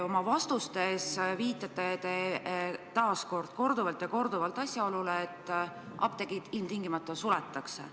Oma vastustes te viitate samuti korduvalt asjaolule, et apteegid ilmtingimata suletakse.